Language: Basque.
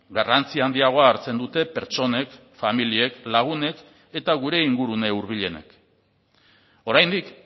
garrantzi handiagoa hartzen dute pertsonek familiek lagunek eta gure ingurune hurbilenek oraindik